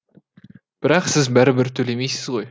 бірақ сіз бәрібір төлемейсіз ғой